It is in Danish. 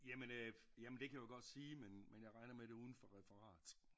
Jamen øh ja men det kan jeg jo godt sige men men jeg regner med det er uden for referat